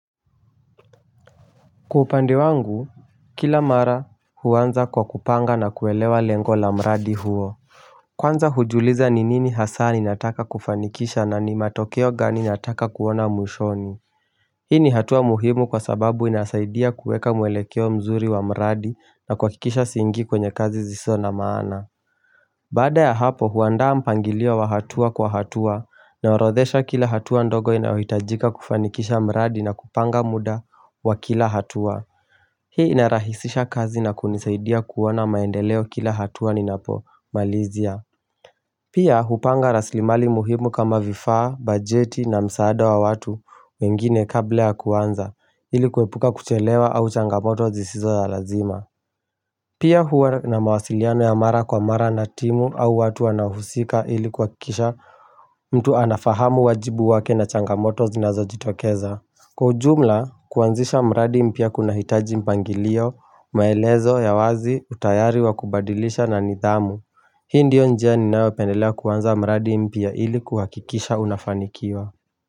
Kwa upande wangu, kila mara huanza kwa kupanga na kuelewa lengo la mradi huo Kwanza hujiuliza ni nini hasa ni ninataka kufanikisha na ni matokeo gani ninataka kuona mwishoni Hii ni hatua muhimu kwa sababu inasaidia kueka mwelekeo mzuri wa mradi na kuhakikisha siingii kwenye kazi zisizo na maana Baada ya hapo huandaa mpangilio wa hatua kwa hatua naorodhesha kila hatua ndogo inayohitajika kufanikisha mradi na kupanga muda wa kila hatua Hii inarahisisha kazi na kunisaidia kuona maendeleo kila hatua ninapo malizia Pia hupanga raslimali muhimu kama vifaa, bajeti na msaada wa watu wengine kabla ya kuanza ilikuepuka kuchelewa au changamoto zisizo za lazima Pia huwa na mawasiliano ya mara kwa mara na timu au watu wanaohusika ili kuhakikisha mtu anafahamu wajibu wake na changamoto zinazo jitokeza Kwa ujumla kuanzisha mradi mpya kunahitaji mpangilio maelezo ya wazi utayari wa kubadilisha na nidhamu. Hii ndio njia ninayo pendelea kuanza mradi mpya ili kuhakikisha unafanikiwa.